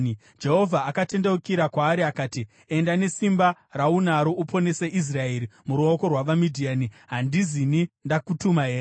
Jehovha akatendeukira kwaari akati, “Enda nesimba raunaro uponese Israeri muruoko rwavaMidhiani. Handizini ndakutuma here?”